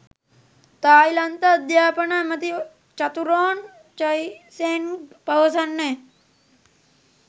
තායිලන්ත අධ්‍යාපන ඇමති Chaturon Chaisaeng පවසන්නේ